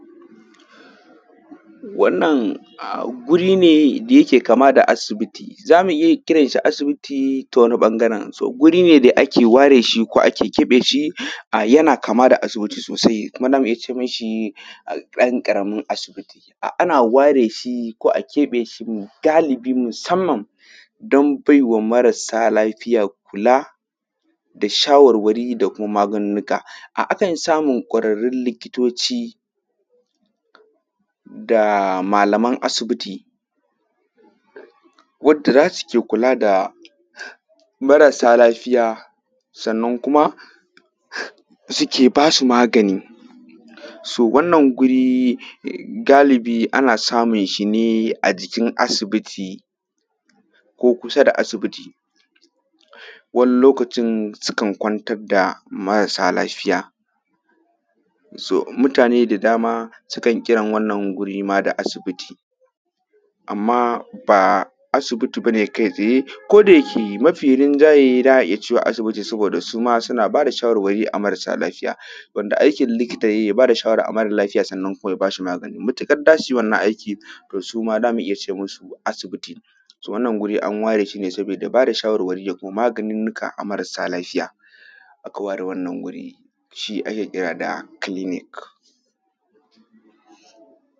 Wannan guri ne da yake kamar da asibiti za mu iya kiran shi asibiti ta wani ɓangaren guri ne da ake ware shi ko ake keɓe shi yana kama da asibiti sosai kuma za mu iya ce ma shi ɗan ƙaramin asibiti a ware shi ko a keɓe shi ne musamman don baiwa marasa lafiya kula da shawarwari da kuma mugununnuka. Akan samu ƙwararru likitoci da malaman asibiti wanda za su ke kula da marasa lafiya Sannan kuma suke ba su magani. Wannan guri ana sumun sa ne a asibitin ko kusa da asibiti wani lokacin sukan kwantar da marasa lafiya so mutane da dama sukan kiran wannan wuri da asibiti, amma ba asibiti ba ne kai tsaye ko da yake mafi rinjaye za a iya cewa asibiti saboda su ma suna ba da shawarwari a marasa lafiya wanda aikin likita ya ba da shawara ga mara lafiya kuma ya ba shi magani. Matuƙar za su yi wannan aiki to su ma za mu iya kira ce musu asibiti. So wannan guri an ware shi ne saboda ba da shawarwari da kuma maganinnuka a ga marasa lafiya. Aka ware wannan wuri shi ake kira da clinic.